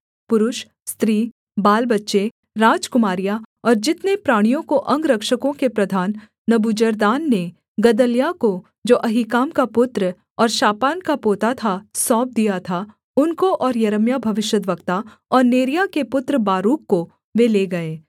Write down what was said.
पुरुष स्त्री बालबच्चे राजकुमारियाँ और जितने प्राणियों को अंगरक्षकों के प्रधान नबूजरदान ने गदल्याह को जो अहीकाम का पुत्र और शापान का पोता था सौंप दिया था उनको और यिर्मयाह भविष्यद्वक्ता और नेरिय्याह के पुत्र बारूक को वे ले गए